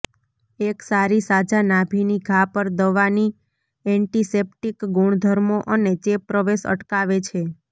એક સારી સાજા નાભિની ઘા પર દવાની એન્ટિસેપ્ટિક ગુણધર્મો અને ચેપ પ્રવેશ અટકાવે છે